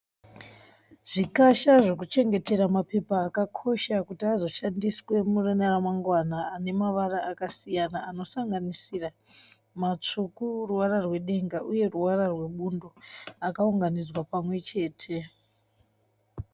Zvikasha zvokuchengetera mapepa akakosha kuti azoshandiswe mune ramamangwana ane mavara akasiyana. Anosanganisira matsvuku ruvara rwedenga uye ruvara rwe bundo akaunganidzwa pamwechete.